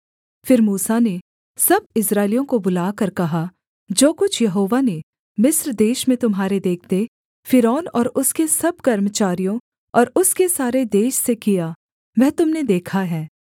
फिर मूसा ने सब इस्राएलियों को बुलाकर कहा जो कुछ यहोवा ने मिस्र देश में तुम्हारे देखते फ़िरौन और उसके सब कर्मचारियों और उसके सारे देश से किया वह तुम ने देखा है